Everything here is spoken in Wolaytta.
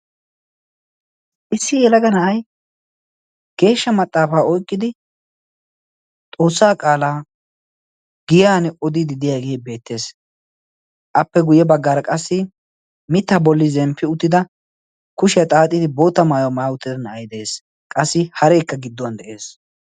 issi elagana7ai geeshsha maxaafaa oiqqidi xoossaa qaalaa giyan odi didiyaagee beettees appe guyye baggaara qassi mitta bolli zemppi uttida kushiyaa xaaxidi boota maaya maawotida na7ai de7ees qassi hareekka gidduwan de7ees